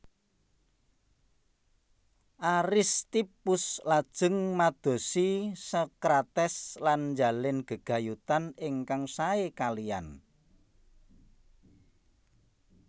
Aristippus lajeng madosi Sokrates lan njalin gegayutan ingkang sae kaliyan